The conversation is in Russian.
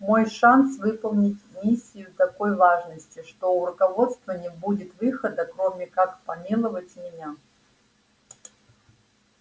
мой шанс выполнить миссию такой важности что у руководства не будет выхода кроме как помиловать меня